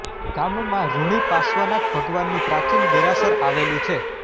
ગામમાં રુણી પાર્શ્વનાથ ભગવાનનું પ્રાચીન દેરાસર આવેલુ છે